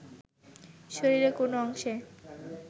শরীরের কোন অংশে